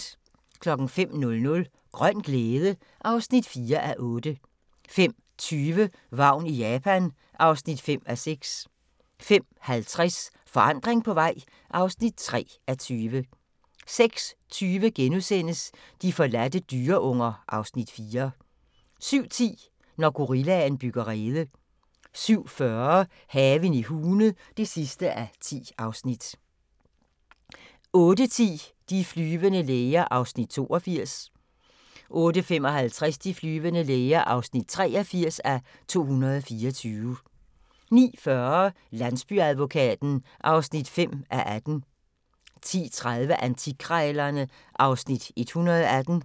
05:00: Grøn glæde (4:8) 05:20: Vagn i Japan (5:6) 05:50: Forandring på vej (3:20) 06:20: De forladte dyreunger (Afs. 4)* 07:10: Når gorillaen bygger rede 07:40: Haven i Hune (10:10) 08:10: De flyvende læger (82:224) 08:55: De flyvende læger (83:224) 09:40: Landsbyadvokaten (5:18) 10:30: Antikkrejlerne (Afs. 118)